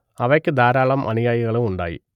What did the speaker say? അവയ്ക്ക് ധാരാളം അനുയായികളും ഉണ്ടായി